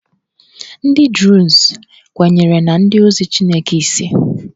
Ndị Druze kwenyere na ndị ozi Chineke ise